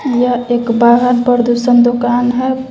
यह एक वाहन प्रदूषण दुकान हैं।